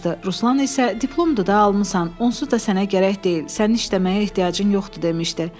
Ruslan isə "Diplomdu da almısan, onsuz da sənə gərək deyil, sənin işləməyə ehtiyacın yoxdur" demişdi.